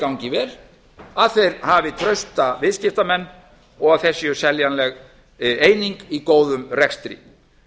gangi vel að þeir hafi trausta viðskiptamenn og þeir séu seljanleg eining í góðum rekstri